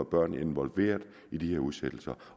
børn involveret i de her udsættelser